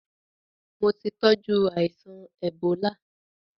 Mo ti tọ́jú aìsàn èbólá.